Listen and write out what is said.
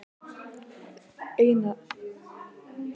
Einara, hvað er á áætluninni minni í dag?